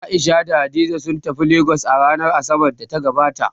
A'isha da Hadiza sun tafi Legas a ranar Asabar da ta gabata